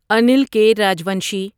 انیل کے راجوانشی